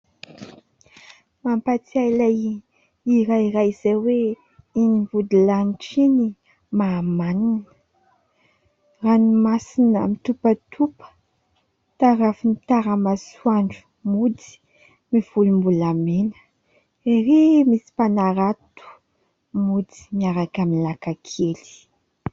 Mpampatsiahy ilay hira iray izay hoe : iny vodilanitra iny mahamanina, ranomasina mitopatopa tarafin'ny tara-masoandro mody mivolombolamena, erỳ misy mpanarato mody miaraka amin'ny lakan-kely.